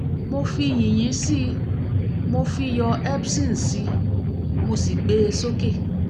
mo fi yìnyín sí i mo fi iyọ̀ epson sí i mo sì gbé e sókè